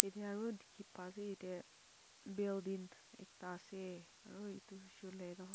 aro dekhey pa ase etyeh building ekta ase aro etu hoshe hoile toh--